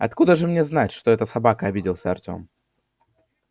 откуда же мне знать что это собака обиделся артем